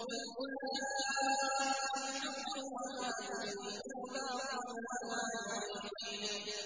قُلْ جَاءَ الْحَقُّ وَمَا يُبْدِئُ الْبَاطِلُ وَمَا يُعِيدُ